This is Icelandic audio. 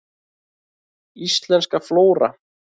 Íslensk flóra.